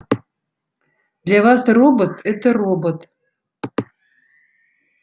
для вас робот это робот